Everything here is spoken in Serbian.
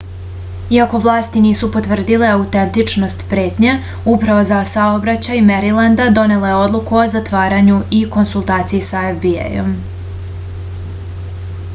iako vlasti nisu potvrdile autentičnost pretnje uprava za saobraćaj merilenda donela je odluku o zatvaranju u konsultaciji sa fbi-jem